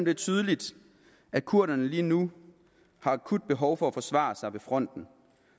er tydeligt at kurderne lige nu har akut behov for at kunne forsvare sig ved fronten